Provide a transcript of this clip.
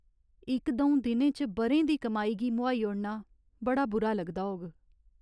इक द'ऊं दिनें च ब'रें दी कमाई गी मुहाई ओड़ना बड़ा बुरा लगदा होग।